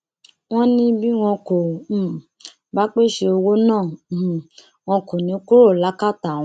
wọn ní bí wọn kò um bá pèsè owó náà um wọn kò ní í kúrò lákàtà àwọn